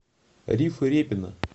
рифы репина